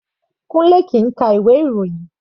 Kunle kìí ka ìwé ìròyìn.